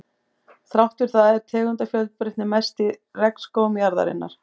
Þrátt fyrir það er tegundafjölbreytnin mest í regnskógum jarðarinnar.